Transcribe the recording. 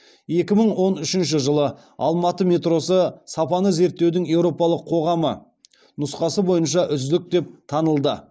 екі мың он үшінші жылы алматы метросы сапаны зерттеудің еуропалық қоғамы нұсқасы бойынша үздік деп танылды